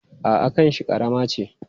A'a, kanshi ƙarama ce.